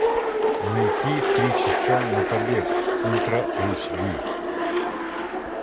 найти три часа на побег ультра эйч ди